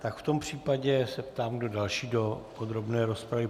Tak v tom případě se ptám, kdo další do podrobné rozpravy.